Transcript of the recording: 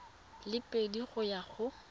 le pedi go ya go